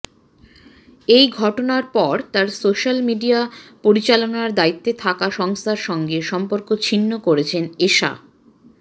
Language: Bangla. এই ঘটনার পর তাঁর সোশ্যাল মিডিয়া পরিচালনার দায়িত্বে থাকা সংস্থার সঙ্গে সম্পর্ক ছিন্ন করেছেন এষা